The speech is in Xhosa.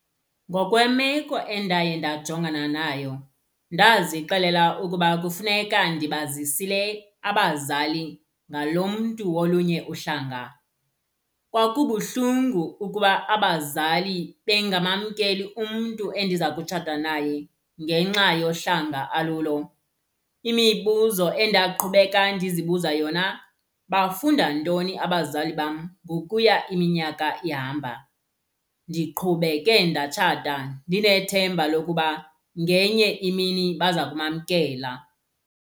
Ngokwemeko endaye ndajongana nayo ndazixelela ukuba kufuneka ndibazisile abazali ngalo mntu wolunye uhlanga. Kwakubuhlungu ukuba abazali bengamamkeli umntu endiza kutshatha naye ngenxa yohlanga alulo. Imibuzo endaqhubeka ndizibuza yona bafunda ntoni abazali bam ngokuya iminyaka ihamba. Ndiqhubeke ndatshatha ndinethemba lokuba ngenye imini baza kumamkela.